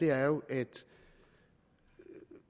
er jo at